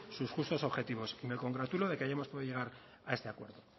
sus justos objetivos me congratulo que hayamos podido llegar a este acuerdo